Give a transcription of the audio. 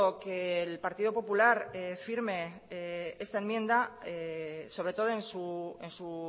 que el partido popular firme esta enmienda sobre todo en su